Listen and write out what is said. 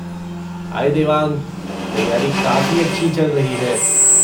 हाय देवांग! तैयारी काफ़ी अच्छी चल रही है।